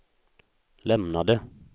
lämnade